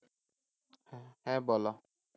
হ্যাঁ বলো,